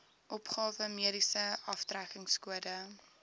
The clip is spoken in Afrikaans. opgawe mediese aftrekkingskode